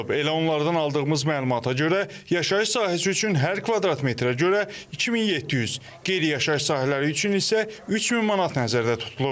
Elə onlardan aldığımız məlumata görə yaşayış sahəsi üçün hər kvadrat metrə görə 2700, qeyri-yaşayış sahələri üçün isə 3000 manat nəzərdə tutulub.